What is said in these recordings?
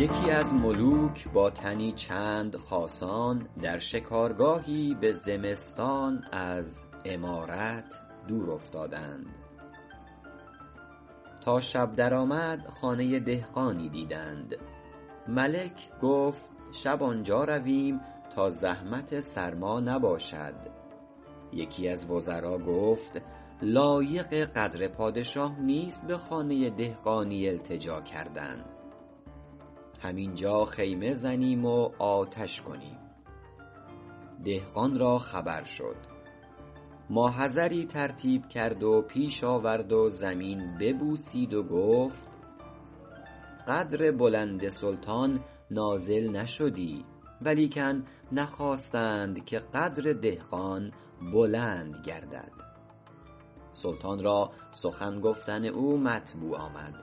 یکی از ملوک با تنی چند خاصان در شکارگاهی به زمستان از عمارت دور افتادند تا شب در آمد خانه دهقانی دیدند ملک گفت شب آنجا رویم تا زحمت سرما نباشد یکی از وزرا گفت لایق قدر پادشاه نیست به خانه دهقانی التجا کردن هم اینجا خیمه زنیم و آتش کنیم دهقان را خبر شد ما حضری ترتیب کرد و پیش آورد و زمین ببوسید و گفت قدر بلند سلطان نازل نشدی ولیکن نخواستند که قدر دهقان بلند گردد سلطان را سخن گفتن او مطبوع آمد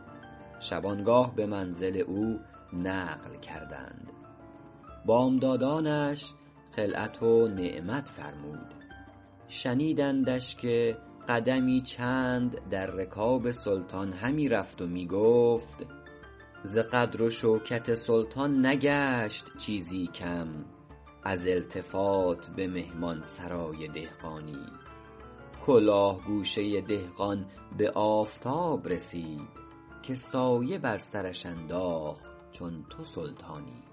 شبانگاه به منزل او نقل کردند بامدادانش خلعت و نعمت فرمود شنیدندش که قدمی چند در رکاب سلطان همی رفت و می گفت ز قدر و شوکت سلطان نگشت چیزی کم از التفات به مهمان سرای دهقانی کلاه گوشه دهقان به آفتاب رسید که سایه بر سرش انداخت چون تو سلطانی